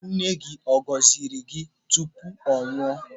Nne nne gị ọ gọziri gị tupu ọ nwụọ?